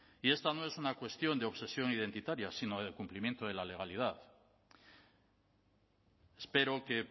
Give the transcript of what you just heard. y esta no es una cuestión de obsesión identitaria sino de cumplimiento de la legalidad espero que